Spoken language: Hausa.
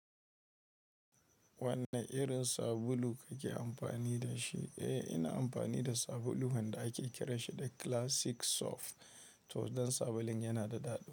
Wanne irin sabulu kake amfani da shi? Eh, ina amfani da sabulu wanda ake kiran shi da Classic Soft. To don sabulun yana da daɗi.